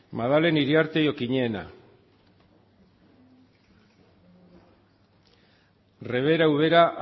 sartu da maddalen iriarte okiñena sartu da rebeka ubera